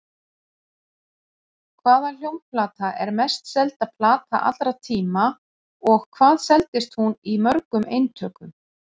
Hvaða hljómplata er mest selda plata allra tíma og hvað seldist hún í mörgum eintökum?